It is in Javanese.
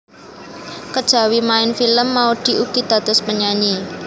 Kejawi maèn film Maudy ugi dados penyanyi